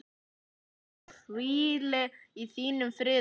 Hún hvíli í þínum friði.